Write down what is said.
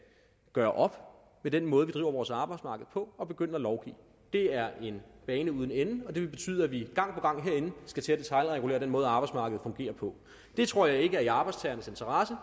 gøre op med den måde driver vores arbejdsmarked på og begynde at lovgive det er en bane uden ende og det vil betyde at vi gang på gang herinde skal til at detailregulere den måde arbejdsmarkedet fungerer på det tror jeg ikke er i arbejdstagernes interesse